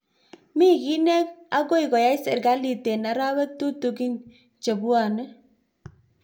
Mi gi ne akoi koyai serkalit eng arawek tutigin chebwone